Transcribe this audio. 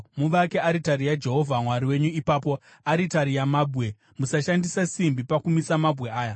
Muvake aritari yaJehovha Mwari wenyu ipapo, aritari yamabwe. Musashandisa simbi pakumisa mabwe aya.